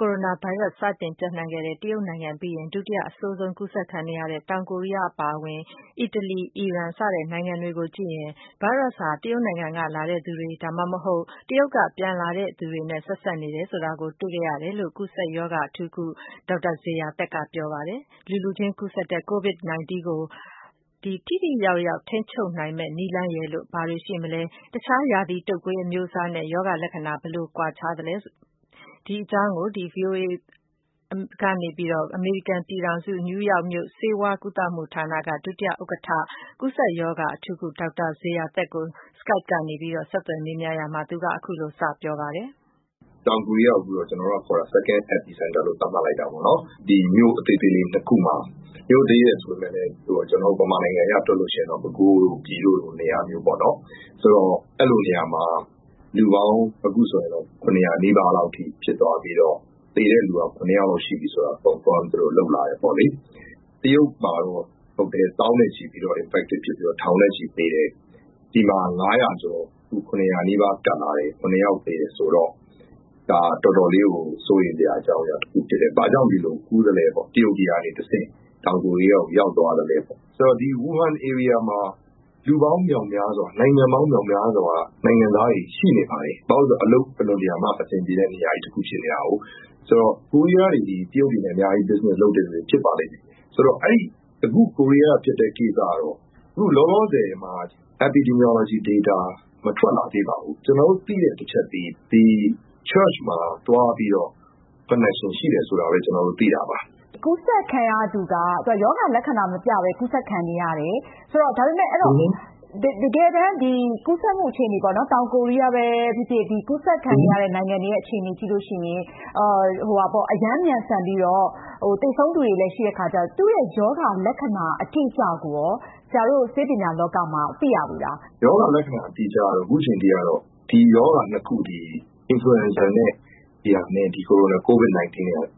ကိုရိုနာဗိုင်းရပ်စ်ကို အဆိုးရွားဆုံး နောက်ဆုံး ကူးစက်ခံနေရတဲ့ တောင်ကိုရီးယား အပါအဝင် အီတလီ၊ အီရန် စတဲ့ နိုင်ငံတွေကိုကြည့်ရင် ဗိုင်းရပ်စ်ပိုးဟာ တရုတ်နိုင်ငံ ကလာတဲ့လူတွေဒါမှမဟုတ် တရုတ်က ပြန်လာတဲ့သူတွေနဲ့ ဆက်စပ်နေတယ်ဆိုတာ တွေ့ရှိခဲ့ရတယ်လို့ အမေရိကန်ပြည်ထောင်စု ကူးစက်ရောဂါအထူးကု ဒေါက်တာဇေယျာသက်က ပြောပါတယ်။ လူလူချင်း ကူးစက်တဲ့ Covid-19 ရောဂါထိန်းချုပ်နိုင်ရေး ထိရောက်တဲ့နည်းလမ်းတွေဘာတွေရှိမလဲ၊ အခြား ရာသီတုပ်ကွေးအမျိုးအစားတွေနဲ့ ရောဂါလက္ခဏာ ဘယ်လိုကွာခြားချက်တွေရှိနေလဲ။ အမေရိကန်ပြည်ထောင်စု နယူးရောက်မြို့ Wyckoff Heights ဆေးဝါးကုသမှုဌာန ဒုဥက္ကဌ ကူးစက်ရောဂါ အထူးကု ဒေါက်တာ ဇေယျာသက်ကို Skype ကနေ မအင်ကြင်းနိုင်က ဆက်သွယ်မေးမြန်းရာမှာ သူကအခုလိုစပြောပါတယ်။ တောင်ကိုရီးယားကိုတော့ ကျနော်တို့ second epicenter လို့သတ်မှတ်လိုက်တာပေါ့နော် မြို့သေးသေးလေး ၂ ခုမှာ ၊ မြို့သေးတယ်ဆိုပေမယ့် ကျနော်တို့ မြန်မာပြည်ဆိုရင် ပဲခူးတို့ ပြည်တို့လိုပေါ့ အဲလိုနေရာမှာ အခုဆိုရင် လူပေါင်း ၇၀၀ နီးပါးလောက်အထိ ဖြစ်သွားပြီးတော့ သေတဲ့လူတွေ ရှိတယ်ဆိုတာလည်း သူတို့ confirm လုပ်လာတယ်ပေါ့နော်။ တရုတ်မှာတော့ သောင်းနဲ့ချီ ကူးစက်ပြီးတော့ ထောင်နဲ့ချီသေတယ်။ ဒီမှာက ၇၀၀ နီးပါး ကပ်လာတယ်ဆိုတော့ တော်တော်စိုးရိမ်စရာ အကြောင်းအရာ တခုဖြစ်တယ်။ ဘာကြောင့် ဒီလို တရုတ်ကနေတဆင့် တောင်ကိုရီးယားကို ရောက်သွားသလဲပေါ့ ။ ဆိုတော့ ဝူဟန်နေရာတဝိုက်မှာ လူပေါင်းမြောက်များစွာ နိုင်ငံပေါင်း မြောက်များစွာက နိုင်ငံသားတွေ ရှိနေပါတယ်။ ဘာဖြစ်လို့လဲဆိုတော့ အလုပ်အင်မတန်မှ အဆင်ပြေတဲ့ နေရာတခုဖြစ်နေတယ်။ ပြီးတော့ ကိုရီးယားတွေက တရုတ်တွေနဲ့ business အများကြီးလုပ်တာဖြစ်ပါလိမ့်မယ်။ ဆိုတော့ အခုကိုရီးယား က ဖြစ်တဲ့ ကိစ္စကတော့ အခုလောလောဆယ်မှာ data မထွက်လာသေးဘူး။ ကျနော်တို့ သိတဲ့တချက်ကတော့ church မှာသွားပြီးတော့ connection ရှိတယ်ဆိုတာပဲ သိတာပါ။ ရောဂါလက္ခဏာမပြပဲ ကူးစက်ခံရသူက ကူးစက်ခံနေရတယ် ဒါပေမယ့် တကယ်တမ်း ကူးစက်မှုအခြေအနေပေါ့နော် တောင်ကိုရီးယားပဲဖြစ်ဖြစ် ကူးစက်ခံနေရတဲ့ နိုင်ငံတွေရဲ့ အခြေအနေ ကြည့်မယ်ဆိုရင် အရမ်းမြန်ဆန်ပြီးတော့ သေဆုံးသူတွေလည်း ရှိတဲ့အခါကျတော့ သူ့ရဲ့ရောဂါလက္ခဏာအတိအကျရော ဆရာတို့ ဆေးပညာလောကမှာ သိရပြီလား။ ရောဂါလက္ခဏာအတိအကျကတော့ ဒီရောဂါ ၂ ခုသည် influenza corona covid 19 နဲ့က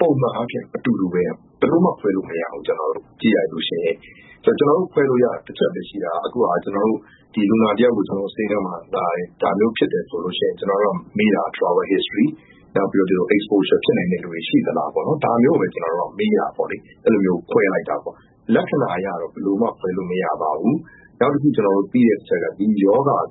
ပုံမှန်အားဖြင့်အတူတူပဲ ဘယ်လိုမှ ခွဲလို့မရဘူး။ ကြည့်လိုက်ရင် ကျနော်တို့ ခွဲလို့ရတာက တချက်ပဲရှိတာက အခု ကျနော်တို့ လူနာတယောက်ကို ဆေးခန်းမှာ ဒါမျိုးဖြစ်တယ်ဆိုရင် မေးတာက Travel history ပြီးတော့ exposure ဖြစ်နိုင်တဲ့လူတွေရှိသလားပေါ့ ဒါမျိုးပဲ မေးပြီးတော့ ခွဲလိုက်တာပေါ့နော်။ လက္ခဏာအရတော့ ဘယ်လိုမှ ခွဲလို့မရပါဘူး။ နောက်တခု ကျနော်တို့ သိတဲ့အချက်က ဒီရောဂါက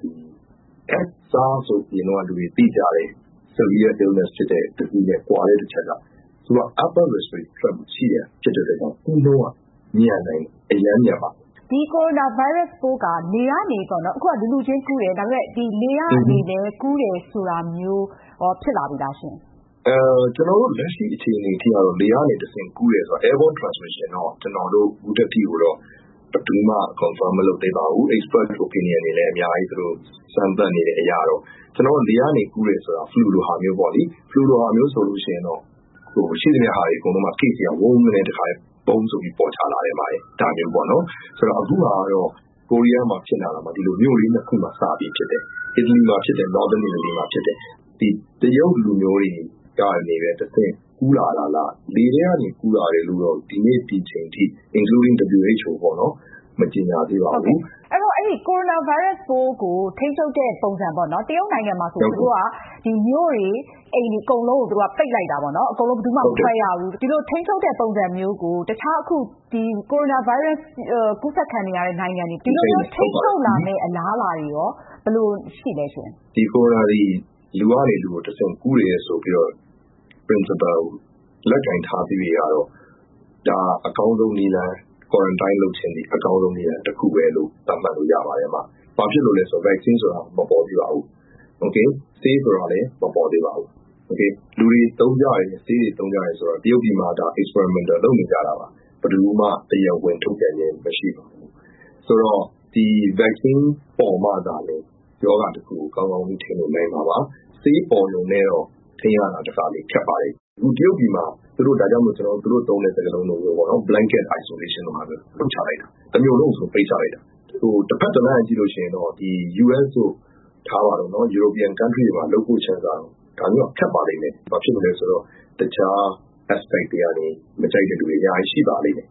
SARS လို့ လူတွေ ဟိုတုန်းက သိကြတဲ့ ရောဂါနဲ့ ကွာတဲ့တချက်ကတော့ သူက upper respiratory tract infectionဖြစ်တဲ့အတွက်ကြောင့် ဒီရောဂါကူးနှုန်းကတော့ မြန်ပါတယ် corona virus က လူလူချင်းကူးတယ်၊ နောက်ပြီး လေကနေလည်း ကူးတယ်ဆိုတာမျိုးရော ဖြစ်လာပြီလားရှင့်။ ကျနော်တို့ လက်ရှိအခြေအနေကတော့ လေကနေ တဆင့်ကူးတယ်ဆိုတာက ကျနော်တို့ ဘယ်သူမှ confirm မလုပ်သေးပါဘူး။ စမ်းသပ်နေတဲ့အရကတော့ လေကနေ တဆင့်ကူးတယ်ဆိုတာ flu လိုမျိုးဟာပေါ့လေ၊ အဲဒါမျိုးဆိုရင် ရှိသမျှ case တွေက ဝုန်းဆိုပြီးတော့ ပေါ်ချလာတယ်အမရေ ။ ဆိုတော့ အခုဟာက ကိုရီးယားမှာ ဖြစ်နေတာကလည်း မြို့လေ ၂ ခု မှာ စပြီးဖြစ်တယ်။ ဒီ တရုတ်လူမျိုးတွေကနေတဆင့် ကူးလာတာလား၊ လေထဲကနေ ကူးလာတယ်ဆိုတာက ဒီနေ့ ဒီအချိန်အထိ WHO အပါအဝင် မကြေညာသေးပါဘူး။ corona virus ပိုးကို ထိန်းချုပ်တဲ့ပုံစံပေါ့နော် တရုတ်မှာဆိုရင် မြို့တွေ အကုန်လုံးကို ပိတ်လိုက်တာပေါ့နော် ။ ဘယ်သူမှ မထွက်ရဘူးပေါ့နော်။ ဒီလိုထိန်းချုပ်တဲ့ပုံစံမျိုးကို တခြား အခု corona virus ကူးစက်ခံနေရတဲ့ နိုင်ငံတွေ ဒီလိုထိန်းချုပ်လာမယ့်အလားအလာတွေရော ဘယ်လိုရှိသလဲရှင့်။ corona virus က လူလူချင်းကူးတယ် ဆိုပြီးတော့ principle ကို လက်ကိုင်ထားသရွေ့ကတော့ အကောင်းဆုံးနည်းလမ်းကတော့ တခုလို့ပဲ သတ်မှတ်လို့ရပါတယ်။ ဘာဖြစ်လို့လဲဆိုတော့ vaccine က မပေါ်သေးပါဘူး။ ဆေးဆိုတာလည်း မပေါ်သေးပါဘူး။ လူတွေသုံးကြတဲ့ ဆေးဆိုတာလည်း တရုတ်ပြည်မှာ experimental လုပ်နေကြတာပါ။ ဘယ်သူမှ တရားဝင် ထုတ်ပြန်တာမရှိပါဘူး။ ဆိုတော့ ဒီ vaccine ပေါ်မှသာလျင် ရောဂါတခုကို ကောင်းကောင်းထိန်းလို့နိုင်မှာပါ။ ဆေးပေါ်တာနဲ့တော့ ထိန်းရတာ တခါတလေ ခက်ပါတယ်။ ဆိုတော့ တရုတ်ပြည်မှာ တမျို့လုံးကို ပိတ်ချလိုက်တာ ။ တဘက်က ကြည့်ရင်တော့ US တို့ European နိုင်ငံတွေမှာ လုပ်ဖို့ကတော့ ဒါမျိုးက ခက်ပါလိမ့်မယ် ဘာဖြစ်လို့လဲဆိုတော့ တခြား အမြင်တွေကနေ မကြိုက်တဲ့လူတွေကတော့ အများကြီးရှိပါလိမ့်မယ်။